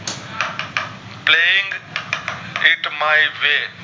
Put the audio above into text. with my way